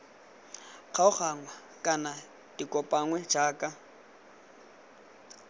kgaoganngwa kana di kopanngwe jaaka